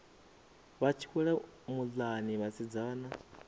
vha tshi wela muḽani vhasidzana